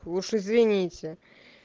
уж извините